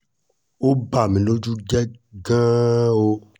ó bà mí lójú jẹ́ gan-an o